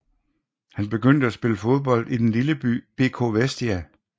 Han begyndte at spille fodbold i den lille klub BK Vestia